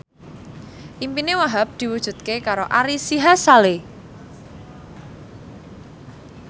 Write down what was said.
impine Wahhab diwujudke karo Ari Sihasale